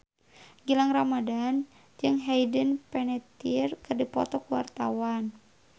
Gilang Ramadan jeung Hayden Panettiere keur dipoto ku wartawan